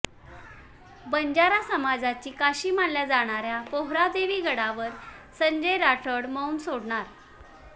बंजारा समाजाची काशी मानल्या जाणाऱ्या पोहरादेवी गडावर संजय राठोड मौन सोडणार